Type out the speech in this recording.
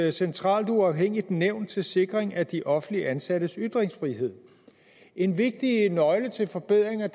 et centralt uafhængigt nævn til sikring af de offentligt ansattes ytringsfrihed en vigtig nøgle til forbedringer